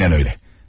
Aynən öylə.